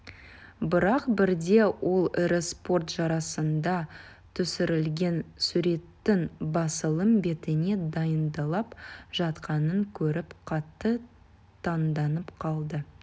бірақ бірде ол ірі спорт жарысында түсірілген суреттің басылым бетіне дайындалып жатқанын көріп қатты таңданып қалды